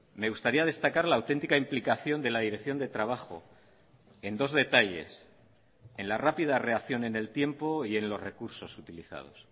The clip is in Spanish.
me gustaría destacar la auténtica implicación de la dirección de trabajo en dos detalles en la rápida reacción en el tiempo y en los recursos utilizados